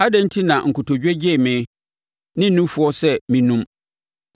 Adɛn enti na nkotodwe gyee me ne nufoɔ sɛ mennum?